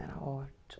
Era ótimo.